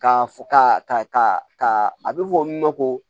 Ka f ka ka a be fɔ min ma ko